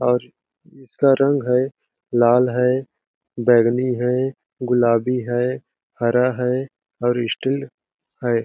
और इसका रंग है लाल है बैगनी है गुलाबी है हरा हैऔर स्टील है।